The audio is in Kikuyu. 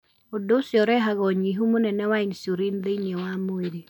Ũndũ ũcio ũrehaga ũnyihu mũnene wa insulin thĩinĩ wa mwĩrĩ.